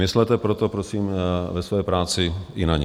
Myslete proto prosím ve své práci i na ně.